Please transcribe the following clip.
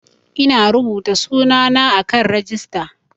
Ina rubuta sunana a kan rijista